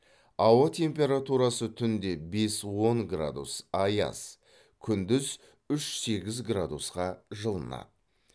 ауа температурасы түнде бес он градус аяз күндіз үш сегіз градусқа жылынады